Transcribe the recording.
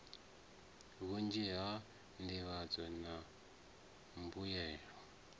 vhunzhi ha nḓivhadzo na mbuyelo